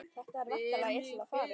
Það er væntanlega illa farið?